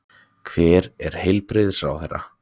Hver er heilbrigðisráðherra?